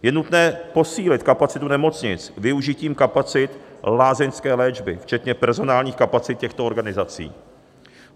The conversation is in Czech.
Je nutné posílit kapacitu nemocnic využitím kapacit lázeňské léčby včetně personálních kapacit těchto organizací.